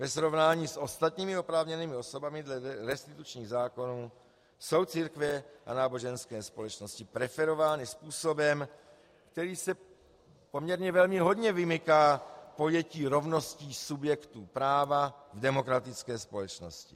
Ve srovnání s ostatními oprávněnými osobami dle restitučních zákonů jsou církve a náboženské společnosti preferovány způsobem, který se poměrně velmi hodně vymyká pojetí rovnosti subjektů práva v demokratické společnosti.